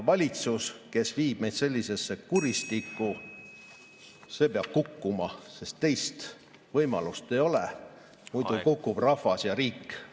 Valitsus, kes viib meid sellisesse kuristikku, peab kukkuma, sest teist võimalust ei ole, muidu kukub rahvas ja riik.